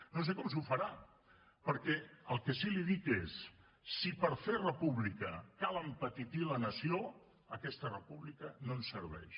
no sé com s’ho farà perquè el que sí li dic és si per fer república cal empetitir la nació aquesta república no ens serveix